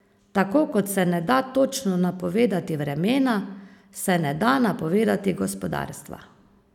Tako kot se ne da točno napovedovati vremena, se ne da napovedovati gospodarstva.